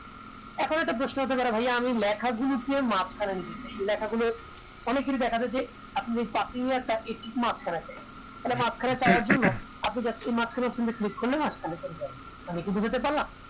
এখন একটা প্রশ্ন হতে পারে ভাইয়া আমি লেখা গুলো কে মাঝ খানে নিতে চাই লেখা গুলো অনেক জন দেখালো যে আমি এ একটা থালে মাঝখানে চাওয়ার জন্য আপনি just এই মাঝখানের করলে মাঝখানে চলে যাবে আমি কি বোঝাতে পারলাম